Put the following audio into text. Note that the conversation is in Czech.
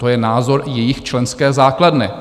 To je názor jejich členské základny.